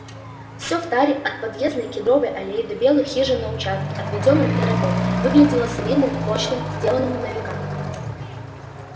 все в таре от подъездной кедровой аллеи до белых хижин на участке отведённом для рабов выглядело солидным прочным сделанным на века